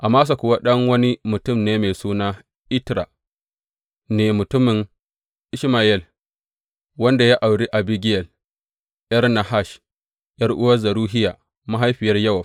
Amasa kuwa ɗan wani mutum mai suna Itra ne, mutumin Ishmayel wanda ya auri Abigiyel, ’yar Nahash, ’yar’uwar Zeruhiya mahaifiyar Yowab.